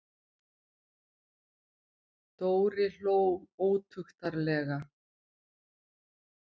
Dóri hló ótuktarlega.